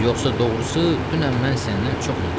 Yoxsa doğrusu dünən mən səndən çox incidim.